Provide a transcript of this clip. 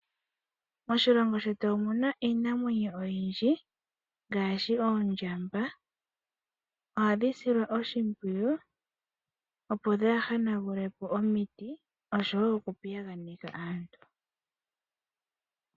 Moshilongo shetu omu na iinamwenyo oyindji ngaashi oondjamba. Ohadhi silwa oshimpwuyu opo dhaahanagule po omiti osho woo okupiyaganeka aantu.